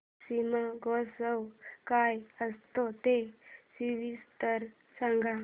शिमगोत्सव काय असतो ते सविस्तर सांग